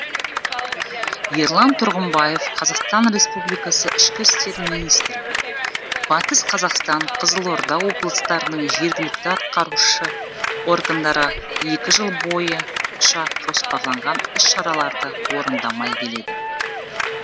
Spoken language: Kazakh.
ерлан тұрғымбаев қазақстан республикасы ішкі істер министрі батыс қазақстан қызылорда облыстарының жергілікті атқарушы органдары екі жыл бойынша жоспарланған іс шараларды орындамай келеді